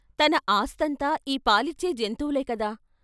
తన ఆస్తంతా ఈ పాలిచ్చే జంతువులే కదా!